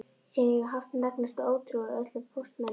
Síðan hef ég haft megnustu ótrú á öllum póstmönnum.